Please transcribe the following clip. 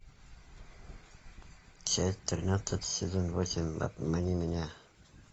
часть тринадцать сезон восемь обмани меня